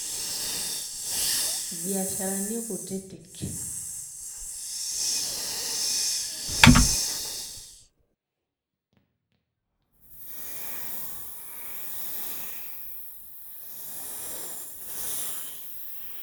Ibiasharini kutiti..